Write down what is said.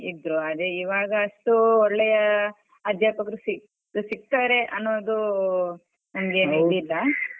ಇದ್ರು ಅದೇ ಈವಾಗ ಅಷ್ಟು ಒಳ್ಳೆಯ ಅಧ್ಯಾಪಕರು ಸಿಕ್~ ಸಿಕ್ತಾರೆ ಅನ್ನೋದು ನಂಗೇನ್ ಇದಿಲ್ಲ .